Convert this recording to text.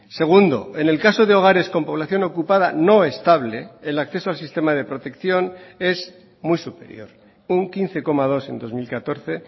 segundo en el caso de hogares con población ocupada no estable el acceso al sistema de protección es muy superior un quince coma dos en dos mil catorce